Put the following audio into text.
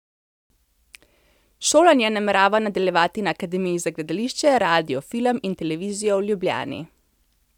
Šolanje namerava nadaljevati na Akademiji za gledališče, radio, film in televizijo v Ljubljani.